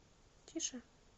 тише